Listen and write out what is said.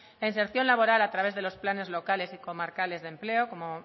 la inserción laboral a través de los planes locales y comarcales de empleo como